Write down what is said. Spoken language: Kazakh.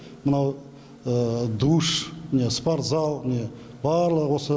мынау душ міне спорт залы міне барлығы осы